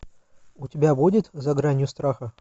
у тебя будет за гранью страха